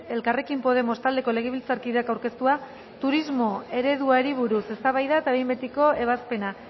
elkarrekin podemos taldeko legebiltzarkideak aurkeztua turismo ereduari buruz eztabaida eta behin betiko ebazpena